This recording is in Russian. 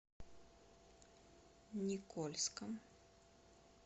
никольском